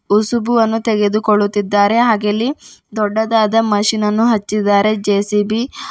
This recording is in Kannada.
ಹೊಸುಬು ಅನ್ನು ತೆಗೆದುಕೊಳ್ಳುತ್ತಿದ್ದಾರೆ ಹಾಗೆ ಇಲ್ಲಿ ದೊಡ್ಡದಾದ ಮಷೀನ್ ಅನ್ನು ಹಚ್ಚಿದ್ದಾರೆ ಜೆ_ಸಿ_ಬಿ --